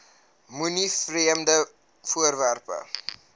moenie vreemde voorwerpe